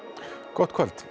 gott kvöld